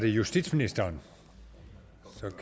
justitsminister